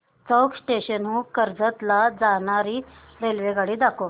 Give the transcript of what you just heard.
चौक station हून कर्जत ला जाणारी रेल्वेगाडी दाखव